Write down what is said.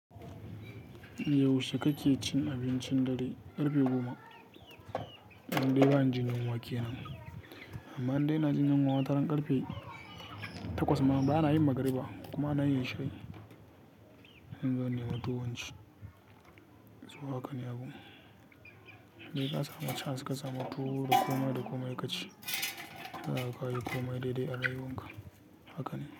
Yaushe kake cin abincin dare? Karfe goma. Indai bani jin yunwa kenan. Amma indai na jin yunwa, wataran karfe takwas ma bana yin magriba ko kuma anayin isha'i. Inzo innemi tuwo inci. So haka ne abun. Sai ka samu chansa ka samu tuwo da komai da komai ka ci. Haka ka yi komai daidai a rayuwarka. Haka ne.